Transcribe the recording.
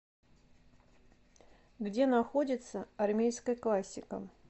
где находится армейская классика